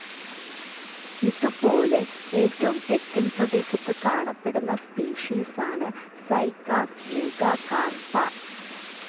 ഇതുപോലെ ഏറ്റവും തെക്കൻ പ്രദേശത്ത് കാണപ്പെടുന്ന സ്പീഷീസാണ് സൈക്കാസ് മെഗാകാർപ്പ.